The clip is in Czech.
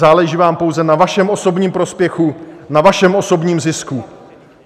Záleží vám pouze na vašem osobním prospěchu, na vašem osobním zisku.